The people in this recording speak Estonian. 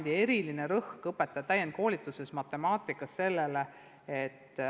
See oli enne, kui PISA tulemused hakkasid tulema.